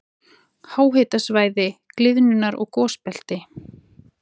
Háhitasvæði- gliðnunar- og gosbelti